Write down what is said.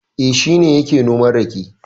E, shi ne yake noman rake.